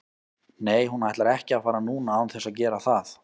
Nei hún ætlar ekki að fara núna án þess að gera það.